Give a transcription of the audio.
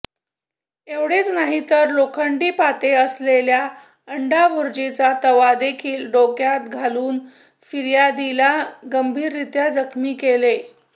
एवढेच नाही तर लोखंडी पाते असलेला अंडाभूर्जीचा तवादेखील डोक्यात घालून फिर्यादीला गंभीररित्या जखमी केले